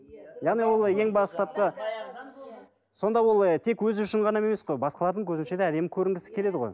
яғни ол ең бастапқы сонда ол ы тек өзі үшін ғана емес қой басқалардың көзінше де әдемі көрінгісі келеді ғой